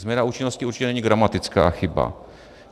Změna účinnosti určitě není gramatická chyba.